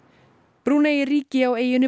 Brúnei er ríki á eyjunni